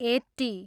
eighty